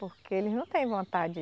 Porque eles não têm vontade